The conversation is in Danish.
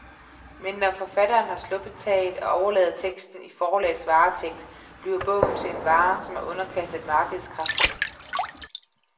Men når forfatteren har sluppet taget, og overlader teksten i forlagets varetægt, bliver bogen til en vare, som er underkastet markedskræfterne.